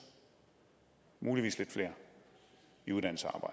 muligvis lidt flere i uddannelse og